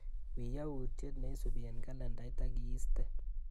Wiiy yautyet neisupi eng kalendait akiistee.